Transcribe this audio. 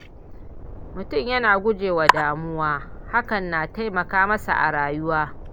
Mutumin yana gujewa damuwa, hakan na taimaka masa a rayuwa.